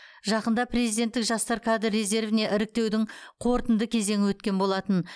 жақында президенттік жастар кадр резервіне іріктеудің қорытынды кезеңі өткен болатын